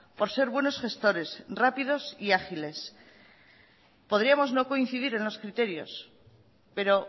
por ser buenos gestores rápidos y ágiles podríamos no coincidir en los criterios pero